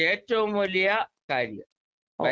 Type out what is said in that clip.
speaker 2 അതാണ് ഏറ്റവും വലിയ കാര്യം